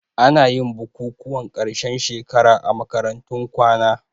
Anayin bukukuwan ƙarshen shekara a makarantun kwana